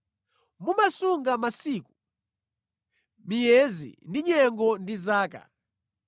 Mumasunga masiku, miyezi ndi nyengo ndi zaka.